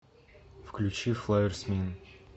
включи флаер смин